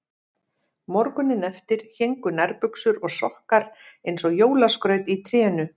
Morguninn eftir héngu nærbuxur og sokkar eins og jólaskraut í trénu.